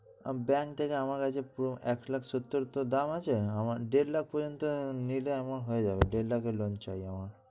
bank থেকে আমার কাছে পুরো এক লাখ সত্তর তো দাম আছে, আমার দেড় লাখ পর্যন্ত নিলে আমার হয়ে যাবে। দেড় লাখের loan চাই আমার।